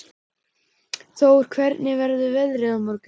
Tór, hvernig verður veðrið á morgun?